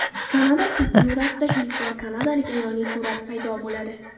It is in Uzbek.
Kanada kupyurasida ilk bor kanadalik ayolning surati paydo bo‘ladi.